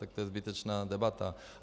Tak to je zbytečná debata.